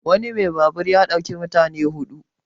wani mai babur ya ɗauki mutane hudu